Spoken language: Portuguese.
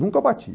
Nunca bati.